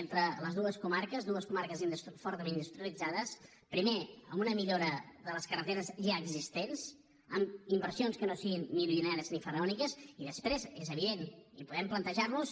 entre les dues comarques dues comarques fortament industrialitzades primer amb una millora de les carreteres ja existents amb inversions que no siguin milionàries ni faraòniques i després és evident i podem plantejar nos